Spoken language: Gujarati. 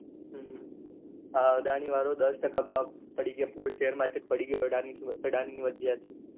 હમ આ અદાની વાળો દસ ટકા ભાવ પડી ગયા પૂરું share market એટલે પડી ગયો અદાની અદાની ની વ્ર્જીયત છે